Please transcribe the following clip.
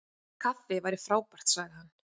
Kaffi væri frábært- sagði hann.